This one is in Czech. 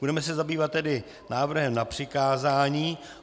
Budeme se zabývat tedy návrhem na přikázání.